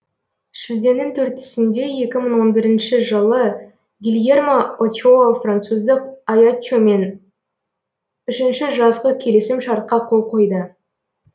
шілденің төртісінде екі мың он бірінші жылы гильермо очоа француздық аяччомен үшінші жазғы келісім шартқа қол қойды